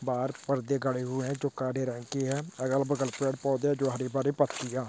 बाहार पर्दे गड़े हुए हैं जो काले रंग की है अगल बगल पेड़ पौधे जो हरी भरी पत्तिया--